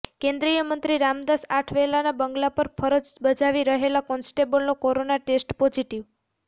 કેન્દ્રીય મંત્રી રામદાસ આઠવલેના બંગલા પર ફરજ બજાવી રહેલા કોન્સ્ટેબલનો કોરોના ટેસ્ટ પોઝીટીવ